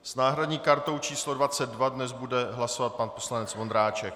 S náhradní kartou číslo 22 dnes bude hlasovat pan poslanec Vondráček.